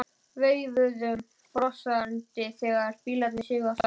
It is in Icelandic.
Veifuðum brosandi þegar bílarnir sigu af stað.